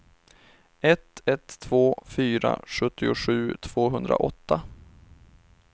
ett ett två fyra sjuttiosju tvåhundraåtta